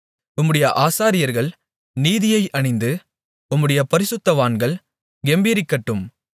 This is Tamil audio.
உம்முடைய ஆசாரியர்கள் நீதியை அணிந்து உம்முடைய பரிசுத்தவான்கள் கெம்பீரிக்கட்டும்